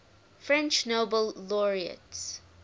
french nobel laureates